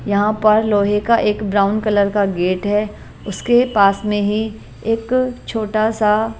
यहां पर लोहे का एक ब्राउन कलर का गेट है उसके पास में ही एक छोटा सा --